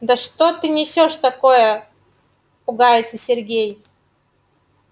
да что ты несёшь такое пугается сергей